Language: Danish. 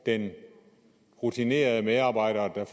den rutinerede medarbejder der